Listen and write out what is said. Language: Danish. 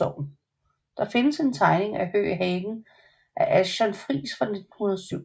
Der findes en tegning af Høeg Hagen af Achton Friis fra 1907